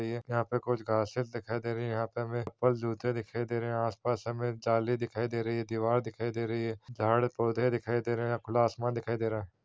यहाँ पे कुछ घासें दिखाई दे रही है यहाँ पे हमें बस जूते दिखाई दे रहे है आस - पास हमें एक जाली दिखाई दे रही है दीवार दिखाई दे रही है झाड़ पौधे दिखाई दे रहे है खुला आसमान दिखाई दे रहा हैं।